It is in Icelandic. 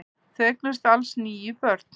Þau eignuðust alls níu börn.